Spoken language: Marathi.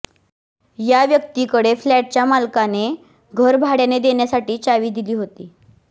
या व्यक्तीकडे फ्लॅटच्या मालकाने घर भाड्याने देण्यासाठी चावी दिली होती